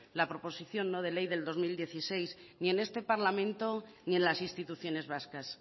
la proposición no de ley del dos mil dieciséis y en este parlamento y en las instituciones vascas